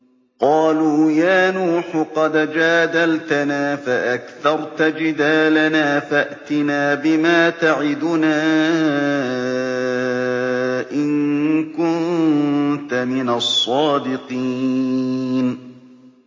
قَالُوا يَا نُوحُ قَدْ جَادَلْتَنَا فَأَكْثَرْتَ جِدَالَنَا فَأْتِنَا بِمَا تَعِدُنَا إِن كُنتَ مِنَ الصَّادِقِينَ